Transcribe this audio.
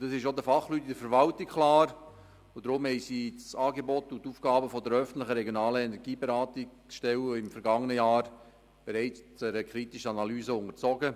Das ist auch den Fachleuten in der Verwaltung klar, darum haben sie das Angebot und die Aufgaben der öffentlichen regionalen Energieberatungsstellen im vergangenen Jahr bereits einer kritischen Analyse unterzogen.